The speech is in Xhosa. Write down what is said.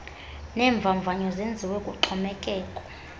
neemvavanyo zenziwe kuxhomekeke